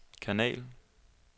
kanal